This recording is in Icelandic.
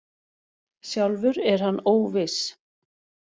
Sjálfur er hann óviss.